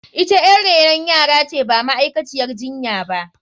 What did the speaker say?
Ita yar renon yara ce ba ma’aikaciyar jinya ba.